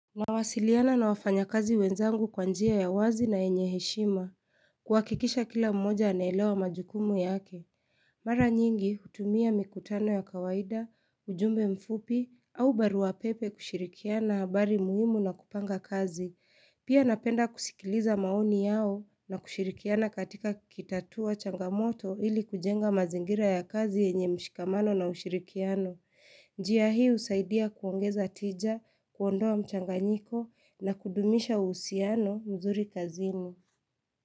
Nawasiliana na wafanya kazi wenzangu kwanjia ya wazi na enyeheshima, kuwakikisha kila mmoja anaelewa majukumu yake. Mara nyingi hutumia mikutano ya kawaida, ujumbe mfupi, au barua pepe kushirikiana habari muhimu na kupanga kazi. Pia napenda kusikiliza maoni yao na kushirikiana katika kitatua changamoto ili kujenga mazingira ya kazi enye mshikamano na ushirikiano. Njiya hii usaidia kuongeza tija, kuondoa mchanganyiko na kudumisha uhusiano mzuri kazini.